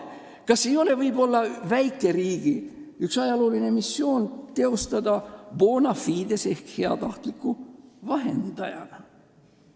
Kas ei olegi ühe väikeriigi ajalooline missioon tegutseda bona fide heatahtliku vahendajana?